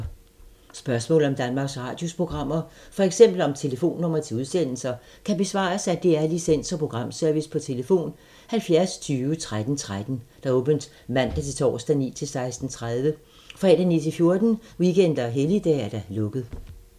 Spørgsmål om Danmarks Radios programmer, f.eks. om telefonnumre til udsendelser, kan besvares af DR Licens- og Programservice: tlf. 70 20 13 13, åbent mandag-torsdag 9.00-16.30, fredag 9.00-14.00, weekender og helligdage: lukket.